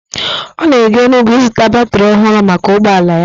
Ọ na-aga Enugwu ịzụta batrị ọhụrụ maka ụgbọala ya.